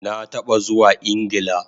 Na taba zuwa Ingla